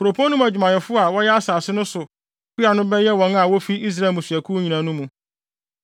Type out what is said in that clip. Kuropɔn no mu adwumayɛfo a wɔyɛ asase no so kua no bɛyɛ wɔn a wofi Israel mmusuakuw nyinaa no mu.